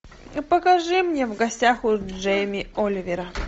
покажи мне в гостях у джейми оливера